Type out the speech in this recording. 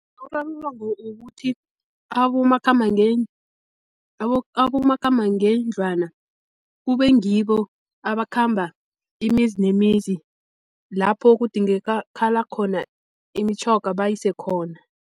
Urarululwa ngokuthi abomakhambangendlwana kube ngibo abakhamba imizi nemizi, lapho kudingekala khona imitjhoga bayise khona.